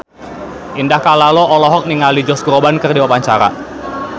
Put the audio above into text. Indah Kalalo olohok ningali Josh Groban keur diwawancara